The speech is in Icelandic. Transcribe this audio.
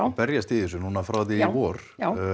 berjast í þessu frá því í vor